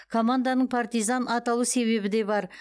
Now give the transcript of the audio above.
команданың партизан аталу себебі де бар